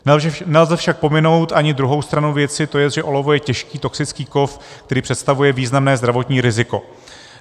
Nelze však pominout ani druhou stranu věci, to jest, že olovo je těžký toxický kov, který představuje významné zdravotní riziko.